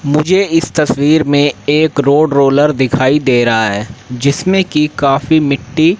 मुझे इस तस्वीर में एक रोड रोलर दिखाई दे रहा है जिसमें की काफी मिट्टी--